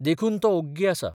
देखून तो ओग्गी आसा.